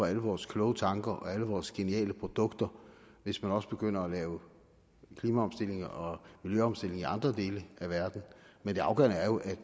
alle vores kloge tanker og alle vores geniale produkter hvis man også begynder at lave klimaomstilling og miljøomstilling i andre dele af verden men det afgørende er jo